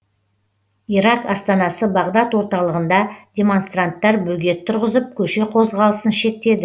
ирак астанасы бағдад орталығында демонстранттар бөгет тұрғызып көше қозғалысын шектеді